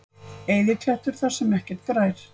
Eyðiklettur þar sem ekkert grær.